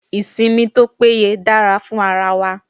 Ìsinmi tó péye dára fún ara wa.